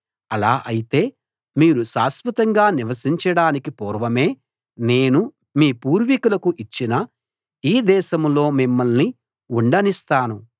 అలా అయితే మీరు శాశ్వతంగా నివసించడానికి పూర్వమే నేను మీ పూర్వికులకు ఇచ్చిన ఈ దేశంలో మిమ్మల్ని ఉండనిస్తాను